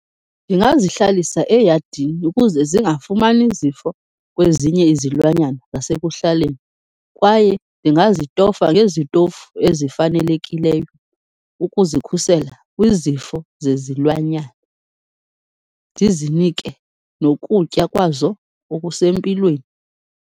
Ndingazihlalisa eyadini ukuze zingafumani zifo kwezinye izilwanyana zasekuhlaleni kwaye ndingazitofa ngezitofu ezifanelekileyo ukuzikhusela kwizifo zezilwanyana, ndizinike nokutya kwazo okusempilweni.